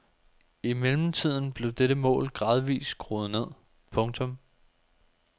I mellemtiden blev dette mål gradvist skruet ned. punktum